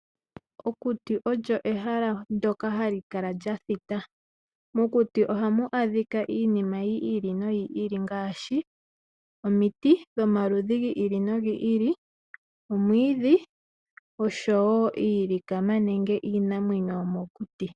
Okuti olyo ehala ndyoka hali kala lyathita. Mokuti ohamu adhika iinima yiili noyili ngaashi omiti dhomaludhi giili nogiili omwiidhi oshowoo iilikama nenge iinamwenyo yomokuti.